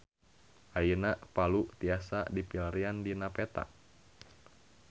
Ayeuna Palu tiasa dipilarian dina peta